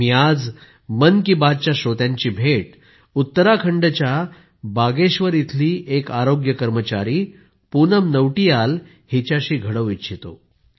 मी आज मन की बातच्या श्रोत्यांची भेट उत्तराखंडच्या बागेश्वर इथली एक आरोग्य कर्मचारी पूनम नौटियाल हिच्याशी घडवू इच्छितो